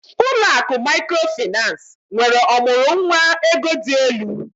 Ụlọ akụ Mikrofaịnsi nwere ọmụrụ nwa ego dị elu